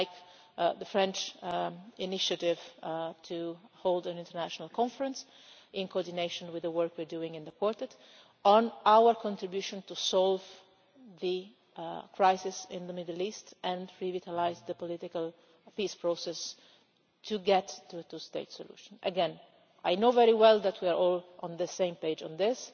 such as the French initiative to hold an international conference, in coordination with the work we are doing in the Quartet, on our contribution to solve the crisis in the Middle East and to revitalise the political peace process to get to a two state solution. Again, I know very well that we are all on the same page on this,